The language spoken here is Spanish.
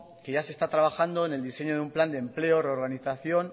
que ya se está trabajando en el diseño de un plan de empleo reorganización